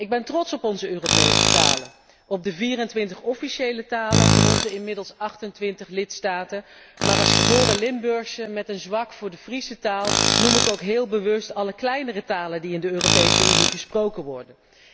Ik ben trots op onze Europese talen, op de 24 officiële talen van onze inmiddels 28 lidstaten, maar als geboren Limburgse met een zwak voor de Friese taal noem ik ook heel bewust alle kleinere talen die in de Europese Unie gesproken worden.